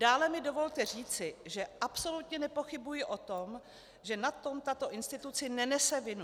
Dále mi dovolte říci, že absolutně nepochybuji o tom, že na tom tato instituce nenese vinu.